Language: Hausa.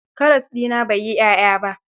Karas ɗina bai yi ƴaƴa ba.